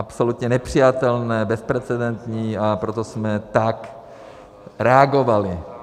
Absolutně nepřijatelné, bezprecedentní, a proto jsme tak reagovali.